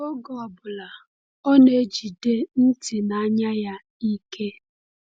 Oge ọ bụla, ọ na-ejide ntị na anya ya ike.